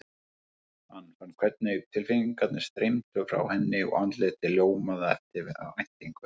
Hann fann hvernig tilfinningarnar streymdu frá henni og andlitið ljómaði af eftirvæntingu.